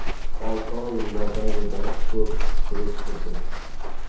Olti oy mobaynida ko‘p surishtirdim.